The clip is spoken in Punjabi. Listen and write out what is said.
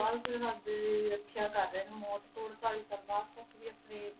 ਬਾਅਦ ਸਰਹੱਦ ਦੀ ਰੱਖਿਆ ਕਰ ਰਹੇ ਨੇ ਮੌਤ ਤੋਂ ਅੜਤਾਲੀ ਸਾਲ ਬਾਅਦ ਤੱਕ ਵੀ ਆਪਣੇ